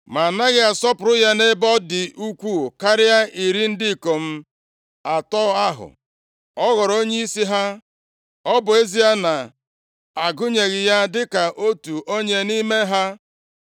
Ma anaghị asọpụrụ ya nʼebe ọ dị ukwuu karịa iri ndị ikom atọ ahụ? Ọ ghọrọ onyeisi ha. Ọ bụ ezie a na-agụnyeghị ya dịka otu onye nʼime ha.